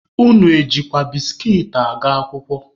Unu ejikwa biskit aga akwụkwọ?